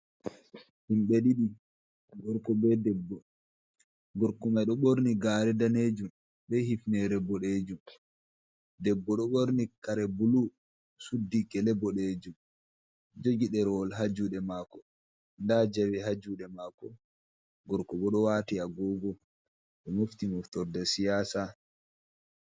Himɓe ɗiɗi gorko be debbo, gorko mai ɗo ɓorni gare danejum be hifnere boɗejum, debbo ɗo ɓorni kare bulu suddi gele boɗejum jogi derwol ha juɗe mako, nda jawe ha juɗe mako gorko bo ɗo wati agogo ɗo mofti moftorde siyasa.